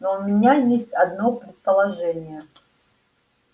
но у меня есть одно предположение